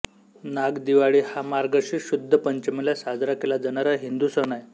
नागदिवाळी हा मार्गशीर्ष शुद्ध पंचमीला साजरा केला जाणारा हिंदू सण आहे